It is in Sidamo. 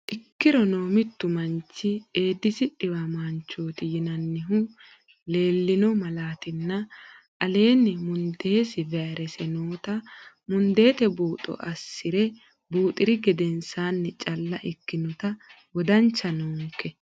Ikkirono mittu manchi Eedisi dhiwamaanchooti yinannihu leellino malaatinni aleenni mundeesi vayrese noota mundeete buuxo assi re buuxi ri gedensaanni calla ikkinota wodancha noonke.